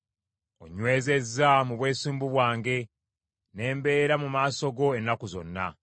Onnywezezza mu bwesimbu bwange, ne mbeera mu maaso go ennaku zonna.